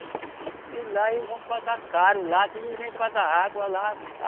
E lá eles vão pagar caro lá, aqui ninguém paga água lá.